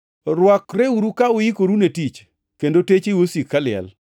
“Rwakreuru ka uikoru ne tich kendo techeu osik kaliel,